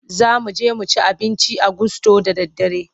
Za mu je mu ci abinci a gusto da daddare.